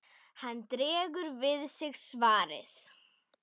Hann dregur við sig svarið.